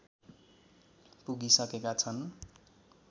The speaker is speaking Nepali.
पुगिसकेका छन्